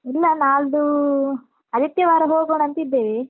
ಇಲ್ಲ ನಾಳ್ಡೂ ಆದಿತ್ಯವಾರ ಹೋಗೋಣಂತಿದ್ದೇವೆ.